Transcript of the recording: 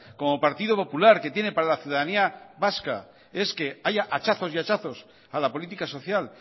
como partido popular que tiene para la ciudadanía vasca es que haya hachazos y hachazos a la política social